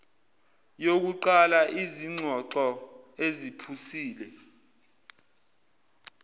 yokuqala izingxoxo eziphusile